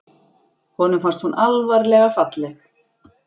Honum fannst hún alvarlega falleg.